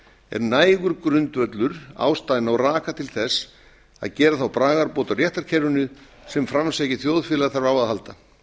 er nægur grundvöllur ástæðna og raka til þess að gera þá bragarbót á réttarkerfinu sem framsækið þjóðfélag þarf á að halda